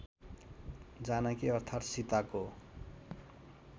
जानकी अर्थात् सीताको